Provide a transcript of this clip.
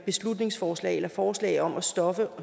beslutningsforslag eller forslag om at stoppe